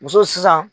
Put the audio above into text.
Muso sisan